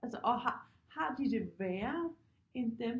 Altså og har de det værre end dem